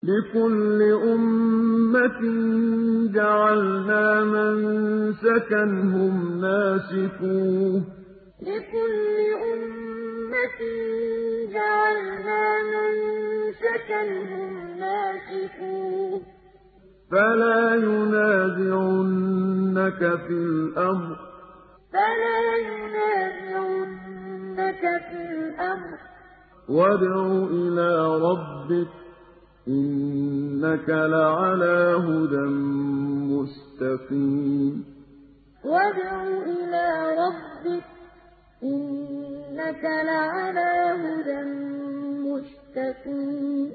لِّكُلِّ أُمَّةٍ جَعَلْنَا مَنسَكًا هُمْ نَاسِكُوهُ ۖ فَلَا يُنَازِعُنَّكَ فِي الْأَمْرِ ۚ وَادْعُ إِلَىٰ رَبِّكَ ۖ إِنَّكَ لَعَلَىٰ هُدًى مُّسْتَقِيمٍ لِّكُلِّ أُمَّةٍ جَعَلْنَا مَنسَكًا هُمْ نَاسِكُوهُ ۖ فَلَا يُنَازِعُنَّكَ فِي الْأَمْرِ ۚ وَادْعُ إِلَىٰ رَبِّكَ ۖ إِنَّكَ لَعَلَىٰ هُدًى مُّسْتَقِيمٍ